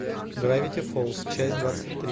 гравити фолз часть двадцать три